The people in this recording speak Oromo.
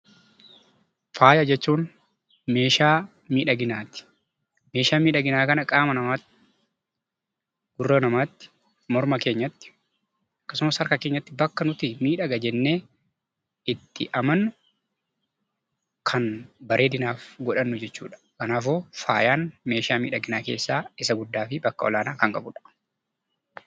Faaya jechuun meeshaa miidhaginaati. Meeshaa miidhaginaa kana qaama namaatti, gurra namaatti, morma keenyatti akkasumas harka keenyatti ni miidhaga jennee itti amannu kan bareedinaaf godhannu jechuudha. Kanaafuu faayaan meeshaa miidhaginaa fi bakka olaanaa kan qabudha.